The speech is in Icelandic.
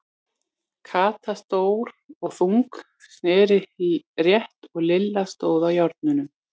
Kata, stór og þung, sneri rétt og Lilla stóð á járnunum.